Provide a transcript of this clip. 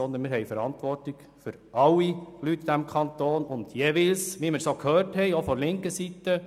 Sicher auch für diese, aber eben für alle Leute in diesem Kanton.